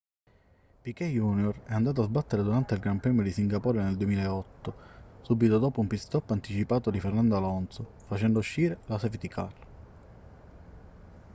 piquet jr è andato a sbattere durante il gran premio di singapore del 2008 subito dopo un pit-stop anticipato di fernando alonso facendo uscire la safety car